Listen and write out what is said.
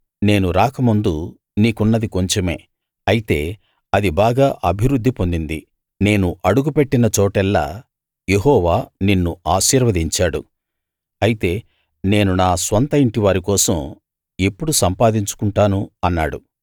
నేను రాకముందు నీకున్నది కొంచెమే అయితే అది బాగా అభివృద్ధి పొందింది నేను అడుగు పెట్టిన చోటెల్లా యెహోవా నిన్ను ఆశీర్వదించాడు అయితే నేను నా స్వంత ఇంటివారి కోసం ఎప్పుడు సంపాదించుకుంటాను అన్నాడు